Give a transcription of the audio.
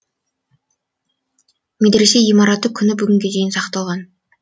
медресе ғимараты күні бүгінге дейін сақталған